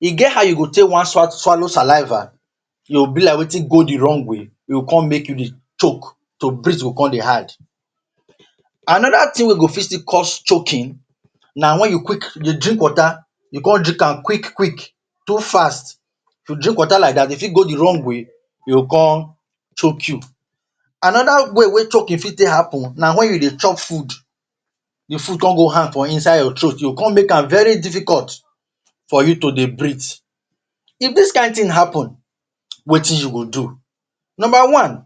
E get how e go take wey you wan swallow saliva, e go be like the thing go the wrong way, e go con make you dey choke. To breathe go con dey hard. Another thing wey go fit still cause choking na when you quick dey drink water, you con drink am quick quick, too fast. If you drink water like dat, e fit go the wrong way and you go con choke you. Another way wey choke dey fit take happen na when you dey chop food. The food con go hang for inside your throat. E go con make am very difficult for you to dey breathe. If dis kind thing happen, wetin you go do? Number one: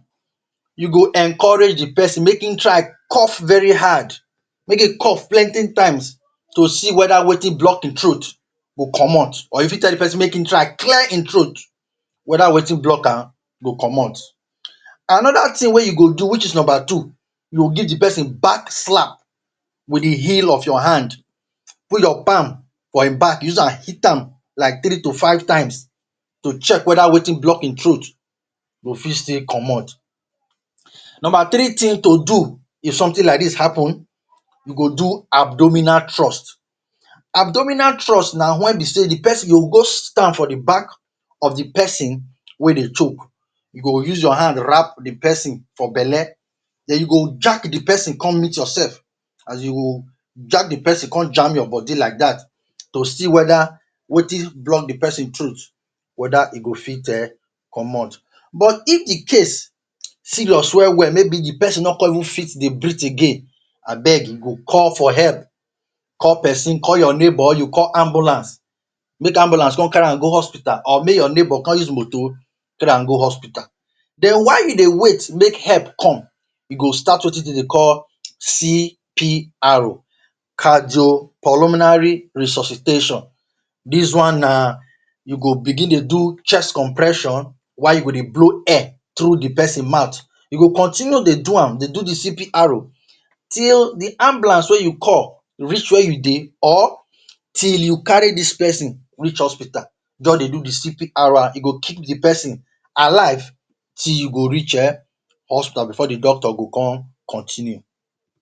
You go encourage pesin make in try cough very hard. Make in cough plenty times to see whether wetin block in throat go comot. Or you fit tell the pesin make in clear in throat whether wetin block am go comot. Number two: You go give the pesin back slap with the heel of your hand. Put your palm for e back, use am hit am like three to five times to check whether wetin block e throat go fit still comot. Number three: If something like dis happen, you go do abdominal thrust. Abdominal thrust na when you go stand for the back of the pesin wey dey choke. You go use your hand wrap around the pesin for belle, you go jack yourself come meet the pesin, as you go jack the pesin con jam you like dat. To see whether wetin dey block the pesin throat, whether e go fit comot. But, if the case serious well well, maybe say the pesin no fit dey breathe again, you go call for help. Call pesin, call your neighbor or you call ambulance. Make ambulance come carry am go hospital or make your neighbor con use moto carry am go hospital. Then while you dey wait make help come, you go start wetin dem dey call CPR (cardio pulmonary resuscitation). Dis one na, you go begin dey do chest compression while you go dey blow air through the pesin mouth. You go continue dey do am, the CPR, till the ambulance wey you call reach where you dey or till you carry dis pesin reach hospital. Just dey do the CPR, e go keep the pesin alive till you go reach hospital before the doctor go con continue.